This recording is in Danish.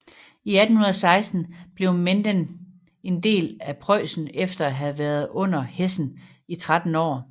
I 1816 blev Menden en del af Preussen efter at have været under Hessen i 13 år